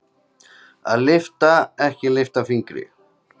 Að lyfta ekki litla fingri